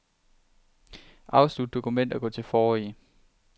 Afslut dokument og gå til forrige.